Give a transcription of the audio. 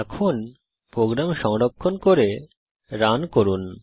এখন প্রোগ্রাম সংরক্ষণ করে রান করুন